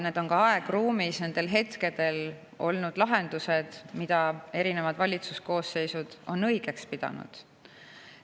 Need on nendel hetkedel olnud aegruumis need lahendused, mida erinevad valitsuskoosseisud on õigeks pidanud.